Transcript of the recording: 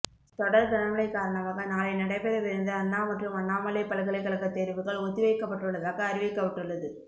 தொடர் கனமழை காரணமாக நாளை நடைபெறவிருந்த அண்ணா மற்றும் அண்ணாமலை பல்கலைக் கழகத் தேர்வுகள் ஒத்திவைக்கப்பட்டுள்ளதாக அறிவிக்கப்பட்டுள்ளது